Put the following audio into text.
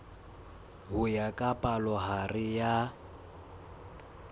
ho ya ka palohare ya